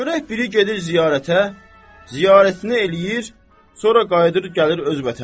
Görək biri gedir ziyarətə, ziyarətini eləyir, sonra qayıdıb gəlir öz vətəninə.